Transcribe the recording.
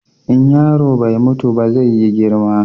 In yaro bai mutu ba zai yi girma.